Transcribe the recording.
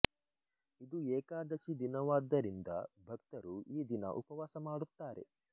ಇದು ಏಕಾದಶಿ ದಿನವಾದ್ದರಿಂದ ಭಕ್ತರು ಈ ದಿನ ಉಪವಾಸ ಮಾಡುತ್ತಾರೆ